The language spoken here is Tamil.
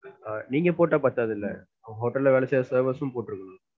நீங்க போட்டா பத்தாது, உங்க ஹோட்டல்ல வேலை செய்ற servers உம் போட்ருக்கனும்.